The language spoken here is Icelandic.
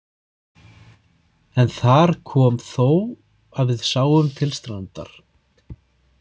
En þar kom þó að við sáum til strandar.